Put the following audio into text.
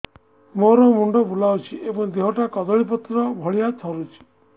ମୋର ମୁଣ୍ଡ ବୁଲାଉଛି ଏବଂ ଦେହଟା କଦଳୀପତ୍ର ଭଳିଆ ଥରୁଛି